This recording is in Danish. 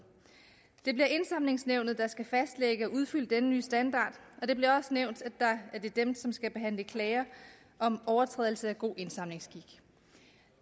det bliver indsamlingsnævnet der skal fastlægge og udfylde denne nye standard og det bliver også nævnt at det er dem som skal behandle klager om overtrædelser af god indsamlingsskik